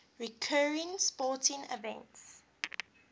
recurring sporting events